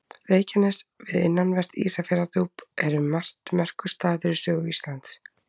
Reykjanes við innanvert Ísafjarðardjúp er um margt merkur staður í sögu Íslands.